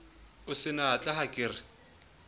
o senatla ha ke re